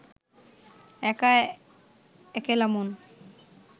একা একেলা মন